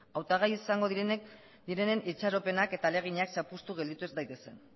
hautagai izango direnen itxaropenak eta ahalegina zapuztu gelditu ez daitezen